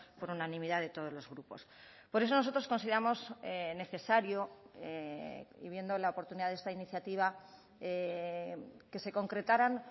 por unanimidad de todos los grupos por eso nosotros consideramos necesario y viendo la oportunidad de esta iniciativa que se concretaran